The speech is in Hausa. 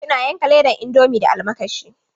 Sabi'u na yanka ledan indomi da almakashi.